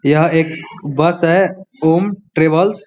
यह एक बस है ॐ ट्रेवल्स --